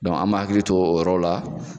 an b'an hakili to o yɔrɔ la.